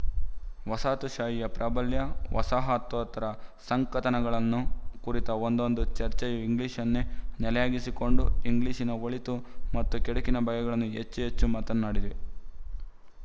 ವಸಾಹತುಶಾಹಿಯ ಪ್ರಾಬಲ್ಯ ವಸಾಹತೋತ್ತರ ಸಂಕಥನಗಳನ್ನು ಕುರಿತ ಒಂದೊಂದು ಚರ್ಚೆಯೂ ಇಂಗ್ಲಿಶನ್ನೇ ನೆಲೆಯಾಗಿಸಿಕೊಂಡು ಇಂಗ್ಲಿಶಿನ ಒಳಿತು ಮತ್ತು ಕೆಡುಕಿನ ಬಗೆಗಳನ್ನೇ ಹೆಚ್ಚು ಹೆಚ್ಚು ಮಾತನ್ನಾಡಿವೆ